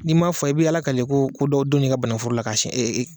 N'i m'a fɔ i bɛ Ala kale ko ko dɔ donna i ka banagunforo la k'a sɛn